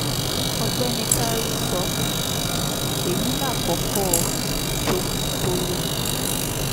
ọ̀gbẹ́ni kari sọ um èyí làkọ́kọ́ ìjomitoro kan ni